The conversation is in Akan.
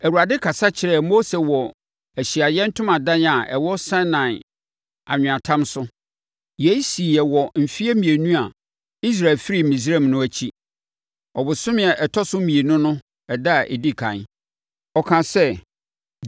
Awurade kasa kyerɛɛ Mose wɔ Ahyiaeɛ Ntomadan a ɛwɔ Sinai anweatam so. Yei siiɛ wɔ mfeɛ mmienu a Israelfoɔ firii Misraim no akyi, ɔbosome a ɛtɔ so mmienu no no ɛda a ɛdi ɛkan. Ɔkaa sɛ: